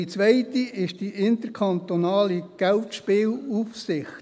Die zweite ist die interkantonale Geldspielaufsicht.